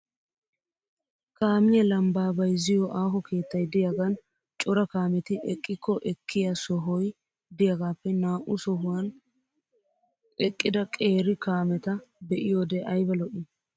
Kaamiya lambbaa bayizziyo aaho keettay diyaagan cora kaameti eqqikko ekkiya sohoy diyagaappe naa"u sohuwan eqqida qeeri kaameta be'iyoode ayiba lo'i!